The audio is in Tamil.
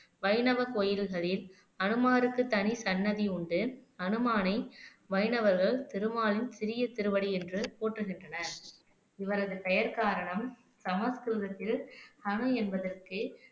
வைணவ கோயில்களில் ஹனுமாருக்கு தனி சன்னதி உண்டு ஹனுமானை வைணவர்கள் திருமாலின் சிறிய திருவடி என்று போற்றுகின்றனர் இவரது பெயர் காரணம் சமஸ்கிருதத்தில் ஹனு என்பதற்கு